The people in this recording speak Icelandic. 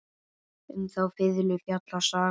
Um þá fiðlu fjallar sagan.